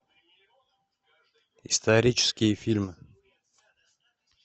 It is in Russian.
исторические фильмы